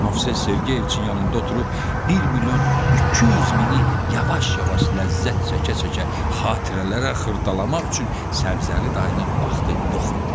Nofs Sergeyevçin yanında oturub bir milyon 200 mini yavaş-yavaş ləzzət çəkə-çəkə xatirələrə xırdalamaq üçün Səbzəli dayının vaxtı yox idi.